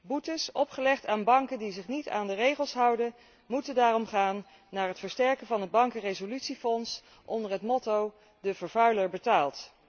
Boetes, opgelegd aan banken die zich niet aan de regels houden, moeten daarom gaan naar het versterken van het bankenresolutiefonds, onder het motto de vervuiler betaalt.